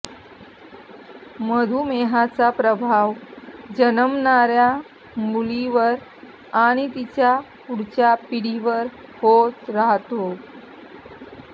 मधुमेहाचा प्रभाव जन्मणाऱ्या मुलींवर आणि तिच्या पुढच्या पिढीवर होत राहतात